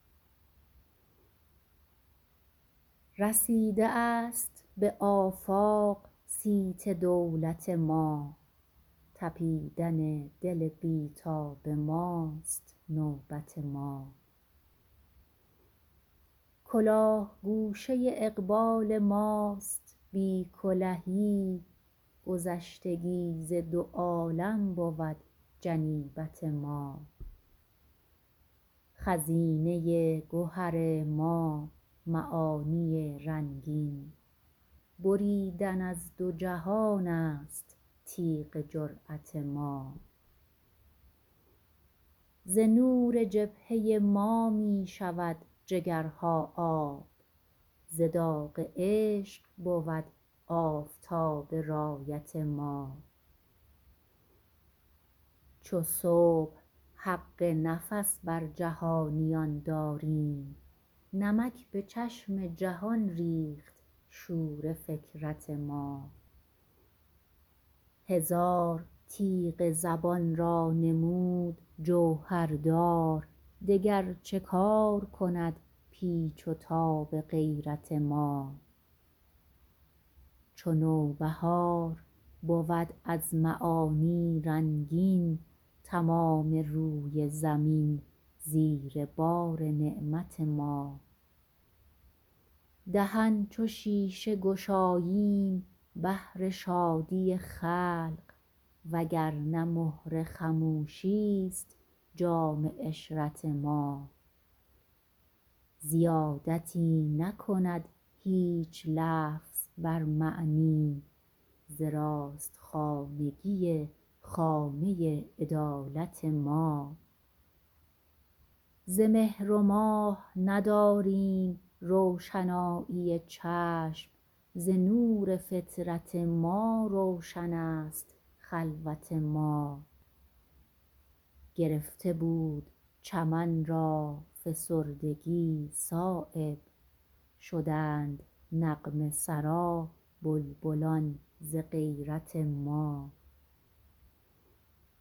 رسیده است به آفاق صیت دولت ما تپیدن دل بی تاب ماست نوبت ما کلاه گوشه اقبال ماست بی کلهی گذشتگی ز دو عالم بود جنیبت ما خزینه گهر ما معانی رنگین بریدن از دو جهان است تیغ جرأت ما ز نور جبهه ما می شود جگرها آب ز داغ عشق بود آفتاب رایت ما چو صبح حق نفس بر جهانیان داریم نمک به چشم جهان ریخت شور فکرت ما هزار تیغ زبان را نمود جوهردار دگر چه کار کند پیچ و تاب غیرت ما چو نوبهار بود از معانی رنگین تمام روی زمین زیر بار نعمت ما دهن چو شیشه گشاییم بهر شادی خلق وگرنه مهر خموشی است جام عشرت ما زیادتی نکند هیچ لفظ بر معنی ز راست خانگی خامه عدالت ما ز مهر و ماه نداریم روشنایی چشم ز نور فطرت ما روشن است خلوت ما گرفته بود چمن را فسردگی صایب شدند نغمه سرا بلبلان ز غیرت ما